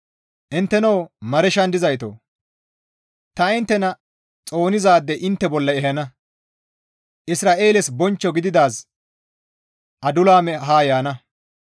Inttenoo Mareeshan dizaytoo! Ta inttena xoonizaade intte bolla ehana; Isra7eeles bonchcho gididaazi Adulaame ha yaana.